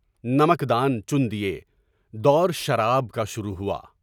نمکدان چُن دیے، دور شراب کا شروع ہوا۔